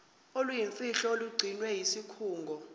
oluyimfihlo olugcinwe yisikhungo